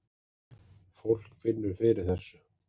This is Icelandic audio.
Fólk finnur fyrir þessu